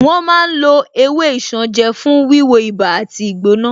Wọ́n ma ń lo ewé isanje fún wíwo ibà àti ìgbóná